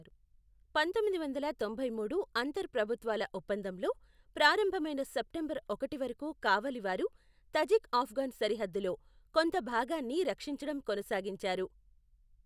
పంతొమ్మిది వందల తొంభై మూడు అంతర్ ప్రభుత్వాల ఒప్పందంలో, ప్రారంభమైన సెప్టెంబర్ ఒకటి వరకు కావలివారు తజిక్ ఆఫ్ఘన్ సరిహద్దులో, కొంత భాగాన్ని రక్షించడం కొనసాగించారు.